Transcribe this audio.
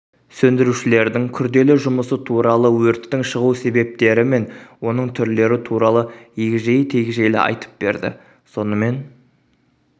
сөндірушілердің күрделі жұмысы туралы өрттің шығу себептері мен оның түрлері туралы егжей-текжейлі айтып берді сонымен